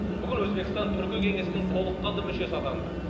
бүгін өзбекстан түркі кеңесінің толыққанды мүшесі атанды